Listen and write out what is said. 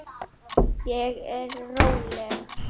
Ég er róleg.